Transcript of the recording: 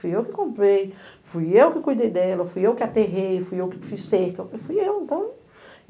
Fui eu que comprei, fui eu que cuidei dela, fui eu que aterrei, fui eu que fiz cerca, fui eu, então.